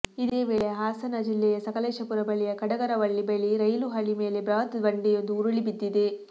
ಇದೇ ವೇಳೆ ಹಾಸನ ಜಿಲ್ಲೆಯ ಸಕಲೇಶಪುರ ಬಳಿಯ ಕಡಗರವಳ್ಳಿ ಬಳಿ ರೈಲು ಹಳಿ ಮೇಲೆ ಬೃಹತ್ ಬಂಡೆಯೊಂದು ಉರುಳಿ ಬಿದ್ದಿದೆ